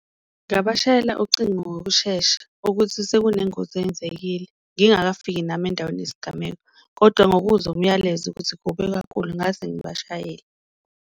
Ngabashayela ucingo ngokushesha ukuthi sekunengozi eyenzekile ngingakafiki nami endaweni yesigameko kodwa ngokuzwa umyalezo ukuthi kubi kakhulu ngase ngibashayele.